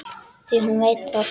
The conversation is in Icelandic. Því hún veit það.